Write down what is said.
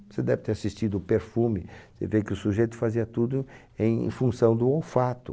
Você deve ter assistido Perfume, você vê que o sujeito fazia tudo em função do olfato.